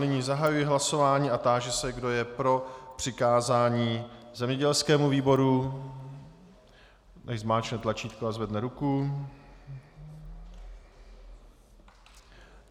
Nyní zahajuji hlasování a táži se, kdo je pro přikázání zemědělskému výboru, ať zmáčkne tlačítko a zvedne ruku.